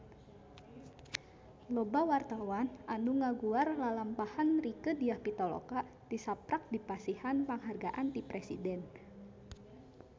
Loba wartawan anu ngaguar lalampahan Rieke Diah Pitaloka tisaprak dipasihan panghargaan ti Presiden